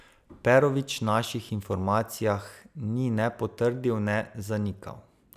Perovič naših informacijah ni ne potrdil ne zanikal.